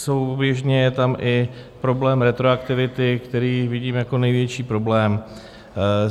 Souběžně je tam i problém retroaktivity, který vidím jako největší problém.